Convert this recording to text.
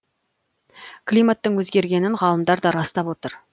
климаттың өзгергенін ғалымдар да растап отыр